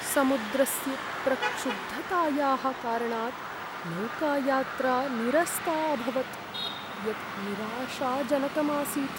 समुद्रस्य प्रक्षुब्धतायाः कारणात् नौकायात्रा निरस्ता अभवत्, यत् निराशाजनकम् आसीत्।